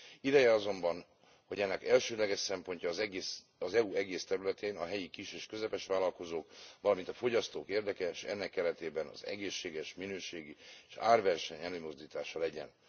Ideje azonban, hogy ennek elsődleges szempontja az EU egész területén a helyi kis és közepes vállalkozók, valamint a fogyasztók érdeke, és ennek keretében az egészséges, minőségi és árverseny előmozdítása legyen.